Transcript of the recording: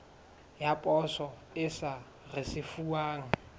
ya poso e sa risefuwang